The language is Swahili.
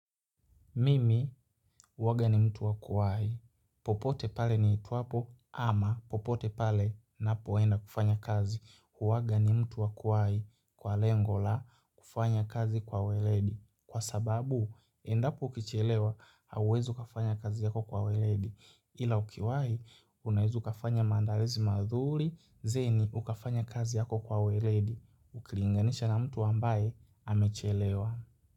Mimi huwa ni mtu wa kuwahi. Popote pale niitwapo ama popote pale ninapoenda kufanya kazi. Uwaga ni mtu wa kuwai. Kwa lengo la kufanya kazi kwa weledi. Kwa sababu, endapo ukichelewa, hauwezi kufanya kazi yako kwa weledi. Ila ukiwahi, unaweza kufanya maandalizi mazuri, kisha ukafanya kazi yako kwa weledi. Ukilinganisha na mtu ambaye amechelewa.